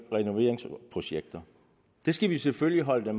renoveringsprojekter det skal vi selvfølgelig holde dem